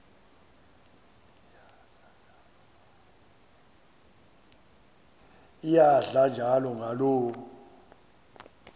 iyadla njalo ngaloo